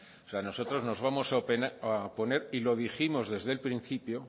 nosotros nos vamos a oponer y lo dijimos desde el principio